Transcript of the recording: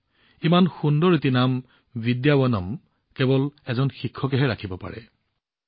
এতিয়া ইমান ধুনীয়া নাম বিদ্যাৱনম কেৱল এজন শিক্ষকেহে ৰাখিব পাৰে